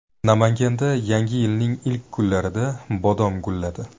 Namanganda Yangi yilning ilk kunlarida bodom gulladi .